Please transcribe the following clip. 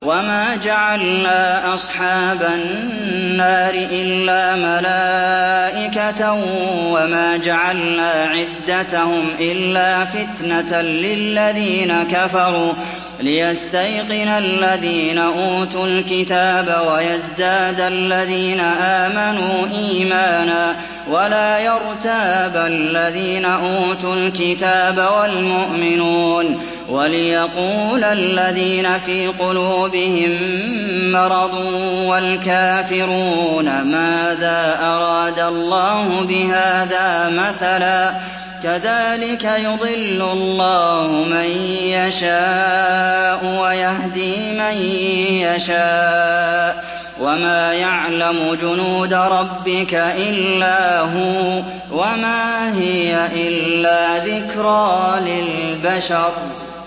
وَمَا جَعَلْنَا أَصْحَابَ النَّارِ إِلَّا مَلَائِكَةً ۙ وَمَا جَعَلْنَا عِدَّتَهُمْ إِلَّا فِتْنَةً لِّلَّذِينَ كَفَرُوا لِيَسْتَيْقِنَ الَّذِينَ أُوتُوا الْكِتَابَ وَيَزْدَادَ الَّذِينَ آمَنُوا إِيمَانًا ۙ وَلَا يَرْتَابَ الَّذِينَ أُوتُوا الْكِتَابَ وَالْمُؤْمِنُونَ ۙ وَلِيَقُولَ الَّذِينَ فِي قُلُوبِهِم مَّرَضٌ وَالْكَافِرُونَ مَاذَا أَرَادَ اللَّهُ بِهَٰذَا مَثَلًا ۚ كَذَٰلِكَ يُضِلُّ اللَّهُ مَن يَشَاءُ وَيَهْدِي مَن يَشَاءُ ۚ وَمَا يَعْلَمُ جُنُودَ رَبِّكَ إِلَّا هُوَ ۚ وَمَا هِيَ إِلَّا ذِكْرَىٰ لِلْبَشَرِ